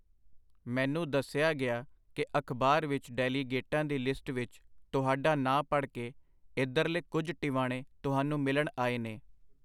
ਮੈਨੂੰ ਦੱਸਿਆ ਗਿਆ ਕਿ ਅਖ਼ਬਾਰ ਵਿੱਚ ਡੈਲੀਗੇਟਾਂ ਦੀ ਲਿਸਟ ਵਿੱਚ ਤੁਹਾਡਾ ਨਾਂ ਪੜ੍ਹ ਕੇ ਇਧਰਲੇ ਕੁਝ ਟਿਵਾਣੇ ਤੁਹਾਨੂੰ ਮਿਲਣ ਆਏ ਨੇ.